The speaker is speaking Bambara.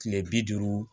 Kile bi duuru